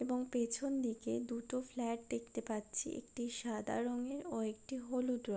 এবং পিছন দিকে দুটো ফ্লাট দেখতে পাচ্ছি একটি সাদা রং এর ও একটি হলুদ রং--